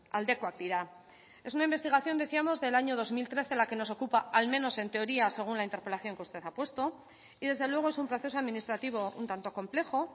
aldekoak dira es una investigación decíamos del año dos mil trece la que nos ocupa al menos en teoría según la interpelación que usted ha puesto y desde luego es un proceso administrativo un tanto complejo